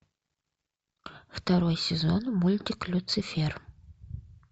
второй сезон мультик люцифер